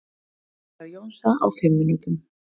Tónleikar Jónsa á fimm mínútum